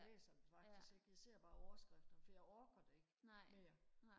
jeg læser det faktisk ikke jeg ser bare overskrifterne for jeg orker det ikke mere